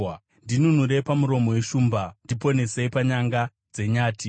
Ndinunurei pamuromo weshumba; ndiponesei panyanga dzenyati.